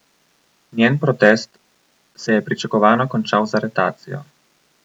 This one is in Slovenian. Njen protest se je pričakovano končal z aretacijo.